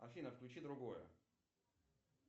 афина включи другое